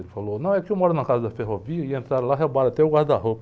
Ele falou, não, é que eu moro na casa da ferrovia e entraram lá, roubaram até o guarda-roupa.